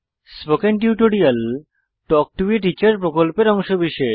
spoken tutorial talk to a teacher প্রকল্পের অংশবিশেষ